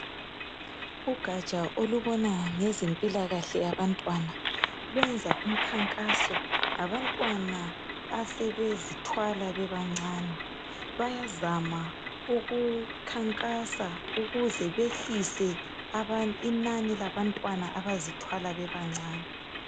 Ugaja olubona ngezempilo kahle yabantwana luyenza umkhankaso ngenxa yabantwana asebezithwala bebancane, bayazama ukukhankasa ukuze behlise inani labantwana abazithwala bebancane.